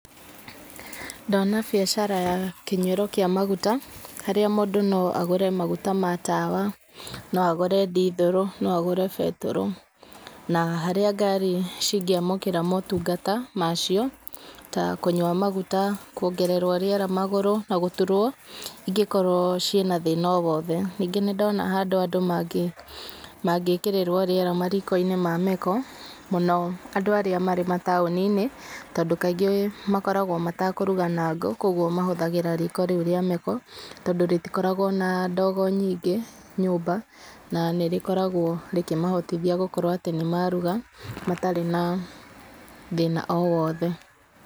Ndona biacara ya kĩnyuĩro kĩa maguta, harĩa mũndũ no agũre maguta ma tawa, no agũre ndithũrũ, no agũre betũrũ. Na harĩa ngari cingĩamũkĩra motungata ma cio, ta kũnyua maguta, kuongererwo rĩera magũrũ, na gũturwo ingĩkorwo ciĩna thĩna o wothe. Ningĩ nĩ ndona handũ andũ mangĩkĩrĩrwo rĩera mariko-inĩ ma meko, mũno andũ arĩa marĩ mataũni-inĩ, tondũ kaingĩ makoragwo matakũruga na ngũ, kũguo mahũthagĩra riko rĩu rĩa meko, tondũ rĩtikoragwo na ndogo nyingĩ nyũmba, na nĩ rĩkoragwo rĩkĩmahotithia gũkorwo atĩ nĩ maruga, matarĩ na thĩna o wothe.